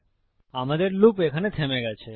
সুতরাং আমাদের লুপ এখানে থেমে গেছে